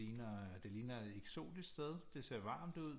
Ligner det ligner eksotisk sted det ser varmt ud